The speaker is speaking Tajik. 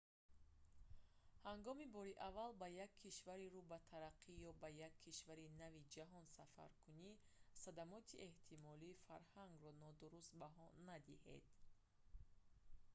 ҳангоми бори аввал ба як кишвари рӯ ба тараққӣ ё ба як кишвари нави ҷаҳон сафаркунӣ садамоти эҳтимолии фарҳангро нодуруст баҳо надиҳед